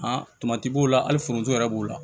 tomati b'o la hali foronto yɛrɛ b'o la